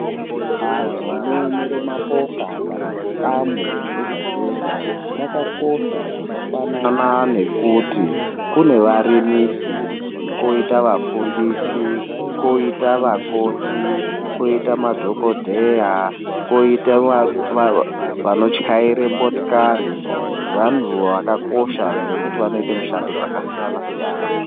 Antu anoyemere mapoka kana zvikamu zvega zvega vakakosha zvakafanan nekuti kune varimisi, kwoita vafundisi, kwoita vakoti, kwoita madhokodheya, kowita vanotyaira motokari vantu vakakosha ngekuti vanoite mishando dzakasiyana siyana.